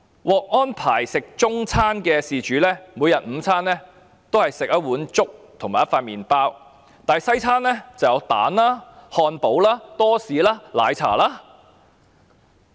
獲安排吃中餐的事主，每天的午餐也是一碗粥和一片麵包，但西餐卻有雞蛋、漢堡、多士和奶茶。